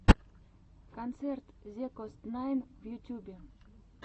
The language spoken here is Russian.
концерт зекостнайн в ютьюбе